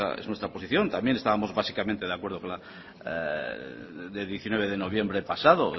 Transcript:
esa es nuestra posición también estábamos básicamente de acuerdo el diecinueve de noviembre pasado